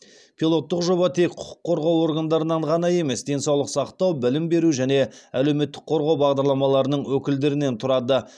пилоттық жоба тек құқық қорғау органдарынан ғана емес денсаулық сақтау білім беру және әлеуметтік қорғау басқармаларының өкілдерінен тұрады